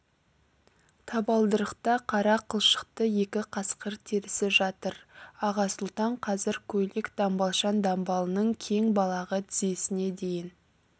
табалдырықта қара қылшықты екі қасқыр терісі жатыр аға сұлтан қазір көйлек-дамбалшаң дамбалының кең балағы тізесіне дейін